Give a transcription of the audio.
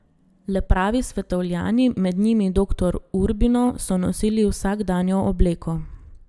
Le pravi svetovljani, med njimi doktor Urbino, so nosili vsakdanjo obleko.